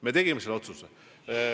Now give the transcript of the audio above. Me tegime selle otsuse.